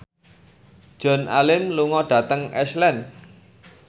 Joan Allen lunga dhateng Iceland